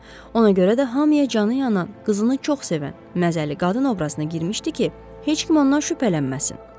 Ona görə də hamıya canı yanan, qızını çox sevən, məzəli qadın obrazına girmişdi ki, heç kim ondan şübhələnməsin.